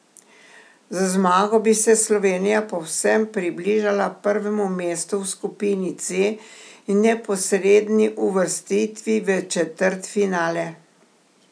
Z zmago bi se Slovenija povsem približala prvemu mestu v skupini C in neposredni uvrstitvi v četrtfinale.